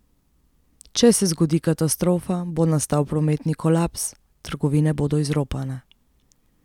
Če se zgodi katastrofa, bo nastal prometni kolaps, trgovine bodo izropane.